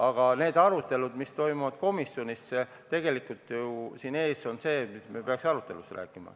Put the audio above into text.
Aga need arutelud, mis toimuvad komisjonis, on tegelikult ju need, millest me peaksime arutelus rääkima.